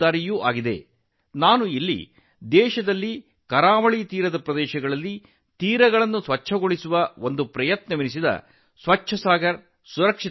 ಇಲ್ಲಿ ನಾನು ದೇಶದ ಕರಾವಳಿ ಪ್ರದೇಶಗಳಲ್ಲಿ ಕಡಲತೀರದ ಸ್ವಚ್ಛತೆಯ ಬಗ್ಗೆ ಮಾತನಾಡಲು ಬಯಸುತ್ತೇನೆ ಸ್ವಚ್ಛ ಸಾಗರಸುರಕ್ಷಿತ ಸಾಗರ